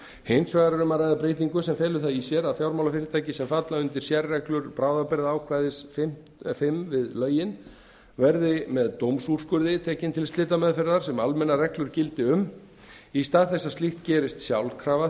hins vegar er um að ræða breytingu sem felur það í sér að fjármálafyrirtæki sem falla undir sérreglur bráðabirgðaákvæðis fimm við lögin verði með dómsúrskurði tekin til slitameðferðar sem almennar reglur gilda um í stað þess að slíkt gerist sjálfkrafa